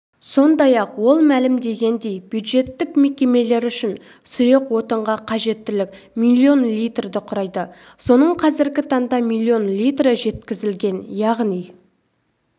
сондай-ақ ол мәлімдегендей бюджеттік мекемелер үшін сұйық отынға қажеттілік миллион литрді құрайды соның қазргі таңда миллион литрі жеткізілген яғни